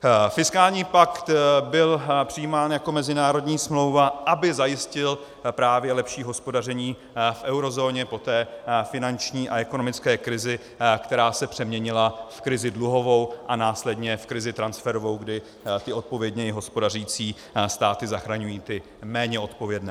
Fiskální pakt byl přijímán jako mezinárodní smlouva, aby zajistil právě lepší hospodaření v eurozóně po té finanční a ekonomické krizi, která se přeměnila v krizi dluhovou a následně v krizi transferovou, kdy ty odpovědněji hospodařící státy zachraňují ty méně odpovědné.